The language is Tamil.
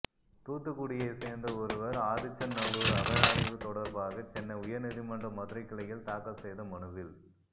தூத்துக்குடியைச் சேர்ந்த ஒருவர் ஆதிச்சநல்லூர் அகழாய்வு தொடர்பாக சென்னை உயர் நீதிமன்ற மதுரைக் கிளையில் தாக்கல் செய்த மனுவில்